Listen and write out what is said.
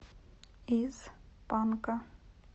из панка